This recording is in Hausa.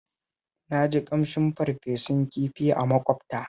Na ji ƙamshin farfesun kifi a maƙwabta